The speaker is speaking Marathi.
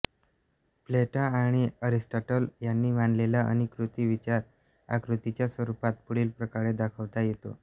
प्लेटो आणि एरिस्टॉटल यांनी मांडलेला अनुकृती विचार आकृतीच्या स्वरुपात पुढीलप्रकारे दाखवता येतो